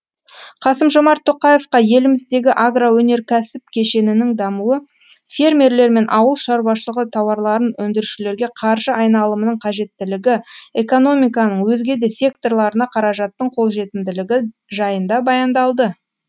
қасым жомарт тоқаевқа еліміздегі агроөнеркәсіп кешенінің дамуы фермерлер мен ауыл шаруашылығы тауарларын өндірушілерге қаржы айналымының қажеттілігі экономиканың өзге де секторларына қаражаттың қолжетімділігі жайында баяндалды